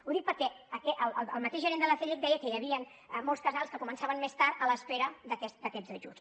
ho dic perquè el mateix gerent de l’acellec deia que hi havien molts casals que començaven més tard a l’espera d’aquests ajuts